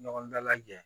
Ɲɔgɔn dalajɛ